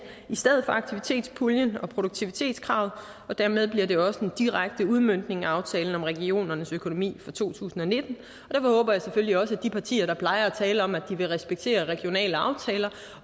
i stedet for aktivitetspuljen og produktivitetskravet og dermed bliver det også en direkte udmøntning af aftalen om regionernes økonomi for to tusind og nitten og håber jeg selvfølgelig at de partier der plejer at tale om at de vil respektere regionale aftaler